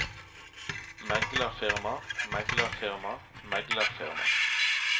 meglerfirma meglerfirma meglerfirma